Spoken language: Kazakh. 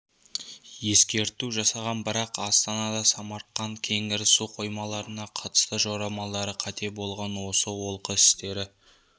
ескерту жасаған бірақ астана самарқанд кеңгір су қоймаларына қатысты жорамалдары қате болған осы олқы істері